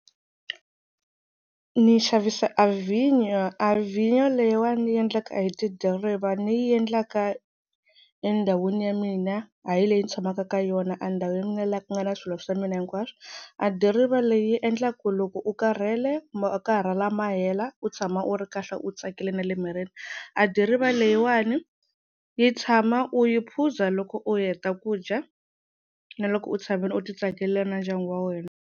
Ni xavisa a vinya a vinya leyiwani ni yi endlaka hi tidiriva ni yi endlaka endhawini ya mina ha yi leyi ni tshamaka ka yona a ndhawini ya mina laha ku nga na swilo swa mina hinkwaswo a diriva leyi endla ku loko u karhele makarhala ma hela u tshama u ri kahle u tsakile na le mirini a diriva leyiwani yi tshama u yi phuza loko u heta ku dya na loko u tshamile u ti tsakela na ndyangu wa wena.